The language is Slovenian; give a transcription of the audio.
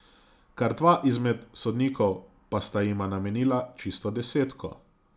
Kar dva izmed sodnikov pa sta jima namenila čisto desetko.